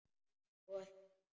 Og þarna?